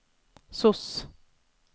sos